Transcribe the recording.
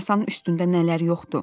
Masanın üstündə nələr yoxdu?